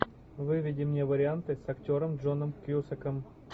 выведи мне варианты с актером джоном кьюсаком